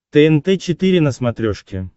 тнт четыре на смотрешке